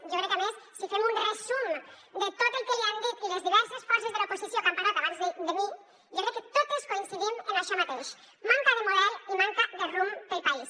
jo crec que a més si fem un resum de tot el que li han dit les diverses forces de l’oposició que han parlat abans de mi jo crec que totes coincidim en això mateix manca de model i manca de rumb per al país